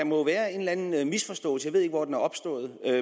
må være en eller anden misforståelse jeg ved ikke hvor den er opstået